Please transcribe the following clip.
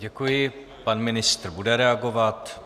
Děkuji, pan ministr bude reagovat.